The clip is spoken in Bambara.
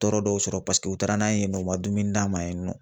Tɔɔrɔ dɔw sɔrɔ paseke u taara n'an ye yen nɔ, u ma dumuni d'an ma yen nɔ